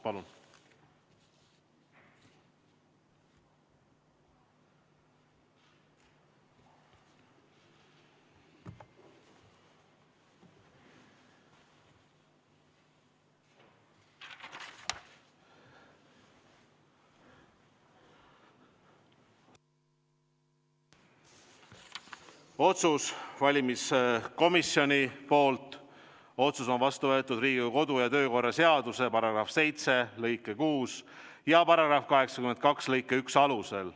Otsuses on öeldud, et valimiskomisjoni otsus on vastu võetud Riigikogu kodu- ja töökorra seaduse § 7 lõike 6 ja § 82 lõike 1 alusel.